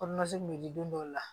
kun bɛ di don dɔw la